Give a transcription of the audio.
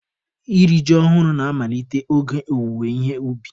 Iri ji ọhụrụ na-amalite oge owuwe ihe ubi.